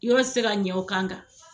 Yɔrɔ ti se ka ɲa o kan kan